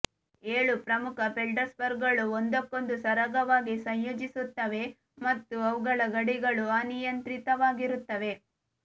ಏಳು ಪ್ರಮುಖ ಫೆಲ್ಡ್ಸ್ಪಾರ್ಗಳು ಒಂದಕ್ಕೊಂದು ಸರಾಗವಾಗಿ ಸಂಯೋಜಿಸುತ್ತವೆ ಮತ್ತು ಅವುಗಳ ಗಡಿಗಳು ಅನಿಯಂತ್ರಿತವಾಗಿರುತ್ತವೆ